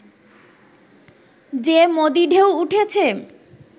যে 'মোদী-ঢেউ' উঠেছে